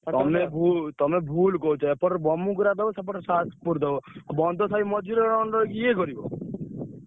ତମେ ଭୁଲ କହୁଛ।